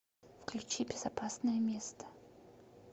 включи безопасное место